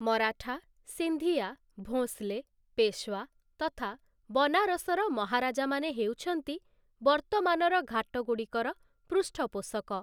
ମରାଠା, ସିନ୍ଧିଆ, ଭୋଁସ୍‌ଲେ, ପେଶୱା ତଥା ବନାରସର ମହାରାଜାମାନେ ହେଉଛନ୍ତି ବର୍ତ୍ତମାନର ଘାଟଗୁଡ଼ିକର ପୃଷ୍ଠପୋଷକ ।